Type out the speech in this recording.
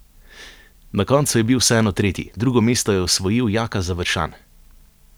Na koncu je bil vseeno tretji, drugo mesto je osvojil Jaka Završan.